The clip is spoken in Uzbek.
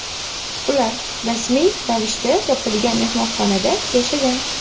ular rasmiy ravishda yopilgan mehmonxonada yashagan.